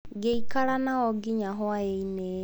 Ngĩikara nao nginya hwaĩ-inĩ.